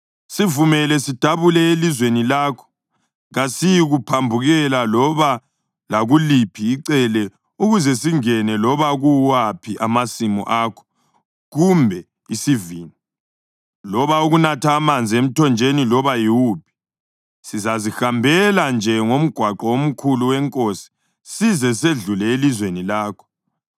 “Sivumele sidabule elizweni lakho. Kasiyikuphambukela loba lakuliphi icele ukuze singene loba kuwaphi amasimu akho kumbe isivini, loba ukunatha amanzi emthonjeni loba yiwuphi. Sizazihambela nje ngomgwaqo omkhulu weNkosi size sedlule elizweni lakho.”